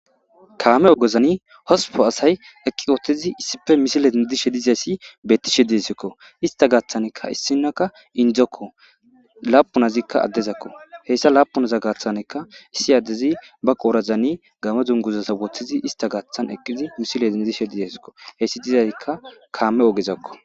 kaame ogezani hospo asay eqqi ooththizi issife misile dindishe dizayssi bettishe diesikko ista gaaththaneka issinakka indzokko laapunazikka addezakko heyssa laapunaza gaathanekka issi addezi ba qoorazani game dunguzasa woththizi ista gaathan eqqizi misile dindishe dizasikko heyssi dizazikka kaame ogezakko.